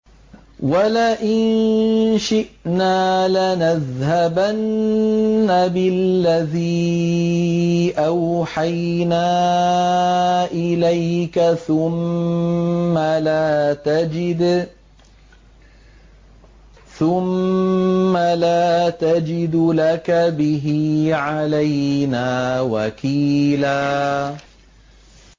وَلَئِن شِئْنَا لَنَذْهَبَنَّ بِالَّذِي أَوْحَيْنَا إِلَيْكَ ثُمَّ لَا تَجِدُ لَكَ بِهِ عَلَيْنَا وَكِيلًا